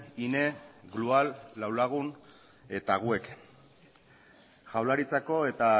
hine glual lau lagun eta wec jaurlaritzako eta